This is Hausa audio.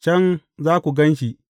Can za ku gan shi.’